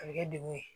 A bɛ kɛ dekun ye